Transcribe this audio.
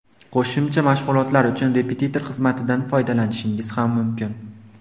Qo‘shimcha mashg‘ulotlar uchun repetitor xizmatidan foydalanishingiz ham mumkin.